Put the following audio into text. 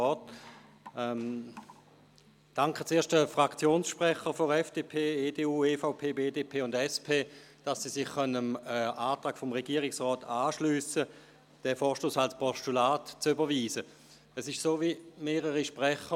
Ich danke zuerst den Fraktionssprechern der FDP, EDU, EVP, BDP und SP, dass Sie sich dem Antrag des Regierungsrats anschliessen können, diesen Vorstoss